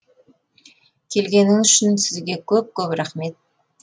келгеніңіз үшін сізге көп көп рахмет